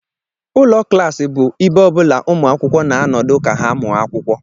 Ụlọ klaasị bụ ibe ọ bụla umuakwukwo na nọdu ka ha mụọ akwukwo.